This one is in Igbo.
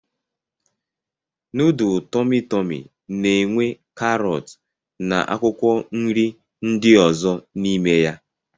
Nudul Tọmi Tọmi na-enwe karọt na akwụkwọ nri ndị ọzọ n'ime ya.